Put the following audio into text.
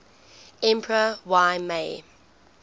emperor y mei